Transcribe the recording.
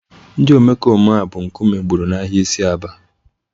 Ndị omekome a bụ nkume gburu n'ahịa isi Aba